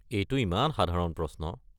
এইটো ইমান সাধাৰণ প্ৰশ্ন।